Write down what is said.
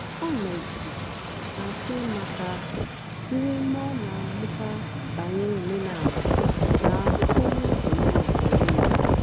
ọ nọ̀gìdèrè na-àchọ́ ị̀matà ihe mgbe ọ na-àmụ́tà bànyèrè òmenàlà na ụ́kpụ́rụ́ òmenàlà ényì ya.